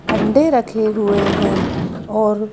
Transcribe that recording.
अंडे रखे हुए हैं और--